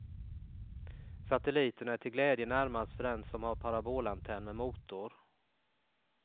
Satelliterna är till glädje närmast för den som har parabolantenn med motor.